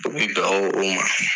A bi dan o ma.